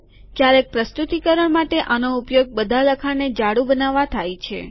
ક્યારેક પ્રસ્તુતિકરણ માટે આનો ઉપયોગ બધા લખાણને જાડું બનાવવા થાય છે